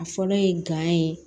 A fɔlɔ ye ye